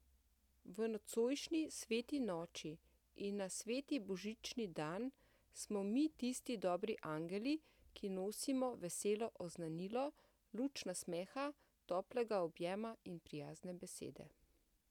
V nocojšnji sveti noči in na sveti božični dan smo mi tisti dobri angeli, ki nosimo veselo oznanilo, luč nasmeha, toplega objema in prijazne besede!